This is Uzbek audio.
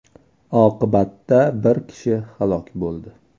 Oqibatda bir kishi halok bo‘ldi.